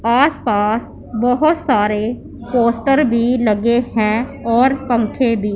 आसपास बहोत सारे पोस्टर भी लगे हैं और पंखे भी--